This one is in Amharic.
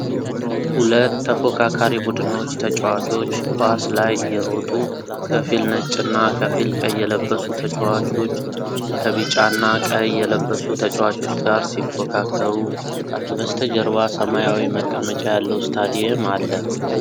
ሁለት ተፎካካሪ ቡድኖች ተጫዋቾች ኳስ ላይ እየሮጡ ። ከፊል ነጭና ከፊል ቀይ የለበሱ ተጫዋቾች ከቢጫና ቀይ የለበሱ ተጫዋቾች ጋር ሲፎካከሩ ። ከበስተጀርባ ሰማያዊ መቀመጫ ያለው ስታዲየም አለ።